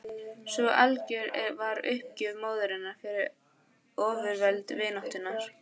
Svo algjör var uppgjöf móðurinnar fyrir ofurveldi vináttunnar.